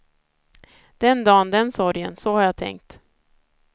Den dan den sorgen, så har jag tänkt.